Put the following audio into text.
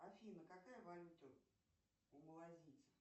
афина какая валюта у малазийцев